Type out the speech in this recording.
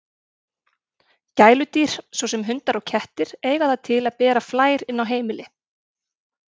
Gæludýr, svo sem hundar og kettir, eiga það til að bera flær inn á heimili.